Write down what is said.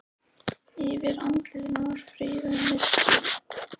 Yfir andlitinu var friður og mildi.